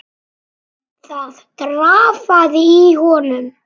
Það drafaði í honum.